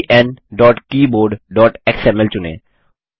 enkeyboardएक्सएमएल चुनें